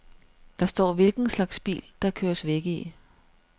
Der står hvilken slags bil der køres væk i.